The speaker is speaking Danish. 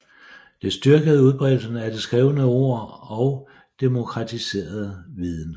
Det styrkede udbredelsen af det skrevne ord og demokratiserede viden